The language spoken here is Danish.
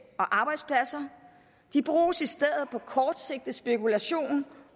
og arbejdspladser de bruges i stedet på kortsigtet spekulation